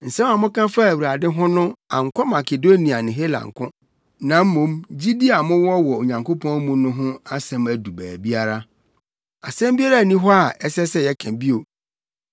Nsɛm a moka faa Awurade ho no ankɔ Makedonia ne Hela nko, na mmom gyidi a mowɔ wɔ Onyankopɔn mu no ho asɛm adu baabiara. Asɛm biara nni hɔ a ɛsɛ sɛ yɛka bio.